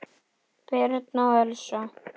Birna og Elsa.